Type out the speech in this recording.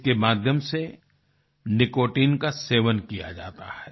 इसके माध्यम से निकोटाइन का सेवन किया जाता है